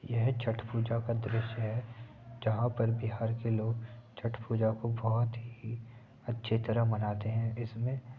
यह छठ पूजा का दृश्य है जहां पर बिहार के लोग छठ पूजा को बहुत ही अच्छी तरह मनाते हैं। इसमें --